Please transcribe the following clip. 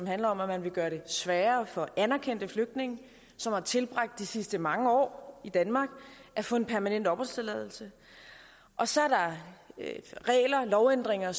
handler om at man vil gøre det sværere for anerkendte flygtninge som har tilbragt de sidste mange år i danmark at få en permanent opholdstilladelse og så er der lovændringer